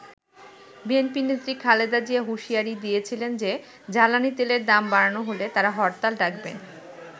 BNP নেত্রী খালেদা জিয়া হুঁশিয়ারি দিয়েছিলেন যে জ্বালানি তেলের দাম বাড়ানো হলে তারা হরতাল ডাকবেন।